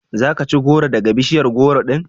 Za ka ci gworo daga bishiyar gworo din?